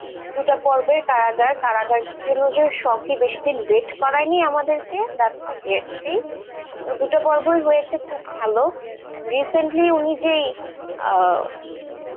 দুটা পর্বই কারাগার, কারাগারের জন্য যে শখ-ই বেশি দিন wait করায়নি আমাদেরকে, that's a great thing, তো দুটো পর্বই হয়েছে খুব ভালো and recently উনি যে আহ কাছে